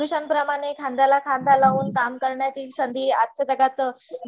पुरुषानं प्रमाणे खांद्याला खांदा लावून काम करण्याची संधी आजच्या जगात